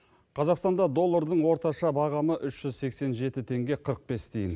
қазақстанда доллардың орташа бағамы үш жүз сексен жеті теңге қырық бес тиын